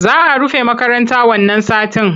Za a rufe makarata wannan satin.